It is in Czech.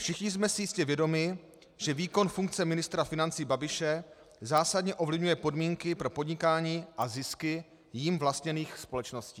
Všichni jsme si jistě vědomi, že výkon funkce ministra financí Babiše zásadně ovlivňuje podmínky pro podnikání a zisky jím vlastněných společností.